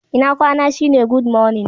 Ina kwana shi ne"Good morning."